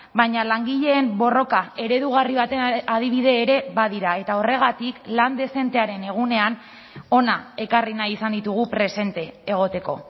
baina langileen borroka eredugarri baten adibide ere badira eta horregatik lan dezentearen egunean hona ekarri nahi izan ditugu presente egoteko